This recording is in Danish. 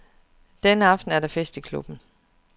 Denne aften er der fest i klubben.